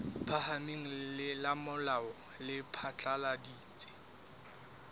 phahameng la molao le phatlaladitse